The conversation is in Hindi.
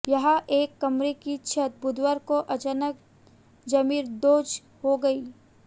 यहां एक कमरे की छत बुधवार को अचानक जमींदोज हो गई